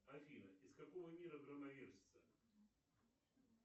афина из какого мира громовержцы